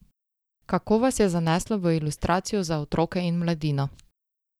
Kako vas je zaneslo v ilustracijo za otroke in mladino?